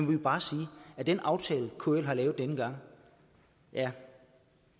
vil bare sige at den aftale kl har lavet denne gang ja